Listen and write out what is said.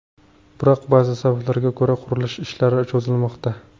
Biroq, ba’zi sabablarga ko‘ra qurilish ishlari cho‘zilmoqda.